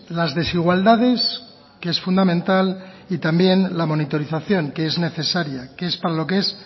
las desigualdades que es fundamental y también la monitorización que es necesaria que es para lo que es